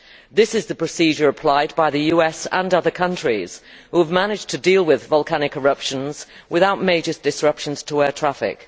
This is the procedure applied by the US and other countries which have managed to deal with volcanic eruptions without major disruptions to air traffic.